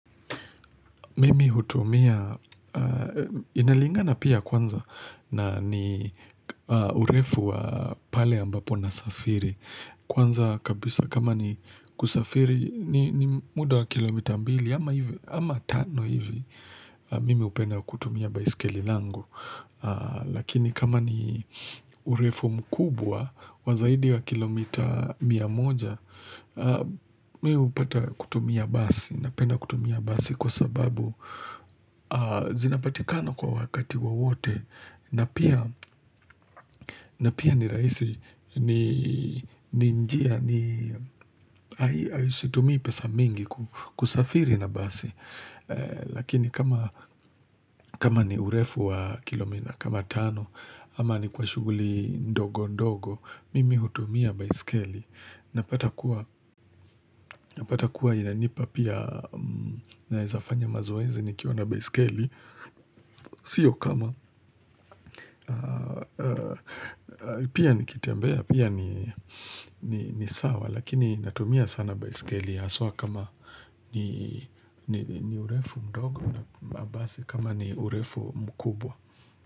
Mimi hutumia, inalingana pia kwanza na ni urefu wa pale ambapo na safiri. Kwanza kabisa, kama ni kusafiri ni muda wa kilomita mbili ama tano hivi mimi hupenda kutumia baiskeli langu. Lakini kama ni urefu mkubwa wa zaidi wa kilomita mia moja, mi hupata kutumia basi. Napenda kutumia basi kwa sababu zinapatikana kwa wakati wowote na pia ni rahisi. Ni njia hai situmii pesa mingi kusafiri na basi Lakini kama ni urefu wa kilomita kama tano ama ni kwa shuguli ndogo ndogo, Mimi hutumia baiskeli. Napata kuwa inanipa pia naezafanya mazoezi nikiwa na baiskeli Sio kama. Pia nikitembea, pia ni sawa Lakini natumia sana baiskeli haswa kama ni urefu mdogo napanda basi kama ni urefu mkubwa.